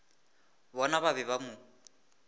bona ba be ba mo